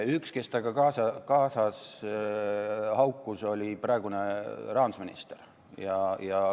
Üks, kes temaga kaasa haukus, oli praegune rahandusminister.